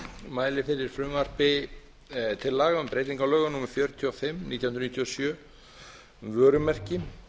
mæli fyrir frumvarpi til laga um breytingu á lögum númer fjörutíu og fimm nítján hundruð níutíu og sjö um vörumerki